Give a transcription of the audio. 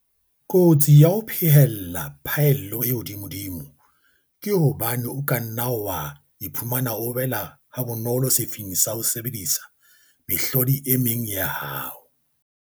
Kotsi ya ho phehella phaello e hodimodimo ke hobane o ka nna wa iphumana o wela habonolo sefing sa ho sebedisa mehlodi e meng ya hao.